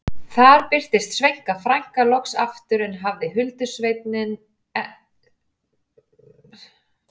Þar birtist Sveina frænka loks aftur en hafði huldusveininn ekki meðferðis.